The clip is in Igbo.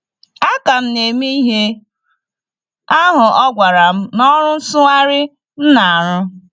Aka m na - eme ihe ahụ ọ gwara m n’ọrụ nsụgharị m na - arụ.